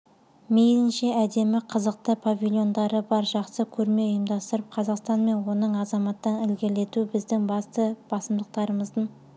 мейлінше әдемі қызықты павильондары бар жақсы көрме ұйымдастырып қазақстан мен оның азаматтарын ілгерілету біздің басты басымдықтарымыздың